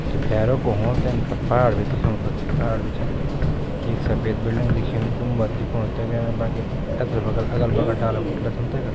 कखि भैरा कु होण तेन पर पहाड़ भी दिखेणु कखि पहाड़ भी छन एक सफेद बिल्डिंग दिखेणी गुम्बद दिखेणू तेका एंच बाकी एथर बगल अगल बगल डाला बुटला छन तेका।